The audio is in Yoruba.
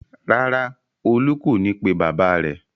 Rárá, Olú kò ní pe bàbá rẹ̀.